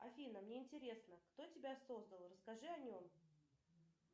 афина мне интересно кто тебя создал расскажи о нем